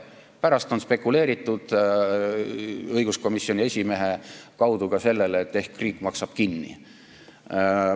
Pärast on spekuleeritud lootes, et ehk saab ka õiguskomisjoni esimehe kaudu lahenduse, et vahest riik maksab kinni.